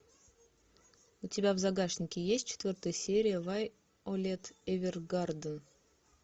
у тебя в загашнике есть четвертая серия вайолет эвергарден